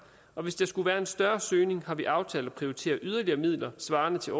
og hvis der skulle være en større søgning har vi aftalt at prioritere yderligere midler svarende til